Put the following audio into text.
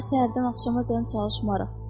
Daha səhərdən axşamacan çalışmarıq.